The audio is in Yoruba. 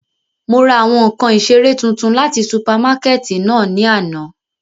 Mo ra awọn nkan isere tuntun lati supamakẹti náa ni ana.